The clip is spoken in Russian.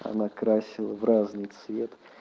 она красила в разный цвет